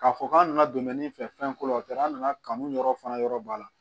K'a fɔ k'an nana don mɛ min fɛ fɛn ko la o taara an nana kanu yɔrɔ fana yɔrɔ b'a la